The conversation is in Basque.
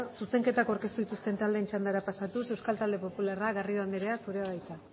zuzenketak aurkeztu dituzten taldeen txandara pasatuz euskal talde popularra garrido anderea zurea da hitza